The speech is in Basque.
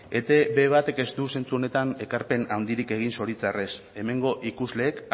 etb batek ez du zentzu honetan ekarpen handirik egin zoritxarrez hemengo ikusleek